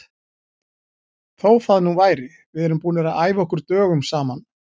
Þó það nú væri, við erum búnir að æfa okkur dögum saman.